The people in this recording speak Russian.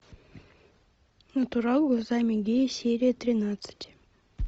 натурал глазами гея серия тринадцать